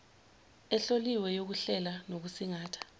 ehloliwe yokuhlela nokusingatha